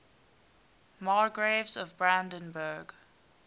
margraves of brandenburg